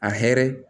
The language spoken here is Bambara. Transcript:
A hɛrɛ